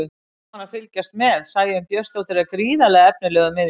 Gaman að fylgjast með: Sæunn Björnsdóttir er gríðarlega efnilegur miðjumaður.